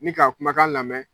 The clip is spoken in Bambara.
Ni k'a kumakan lamɛ